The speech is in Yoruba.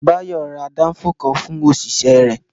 Bayo ra Danfo kan fún òṣìṣẹ́ rẹ̀